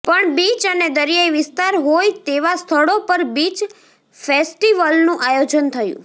પણ બીચ અને દરિયાઈ વિસ્તાર હોય તેવા સ્થળો પર બીચ ફેસ્ટીવલનું આયેાજન થયું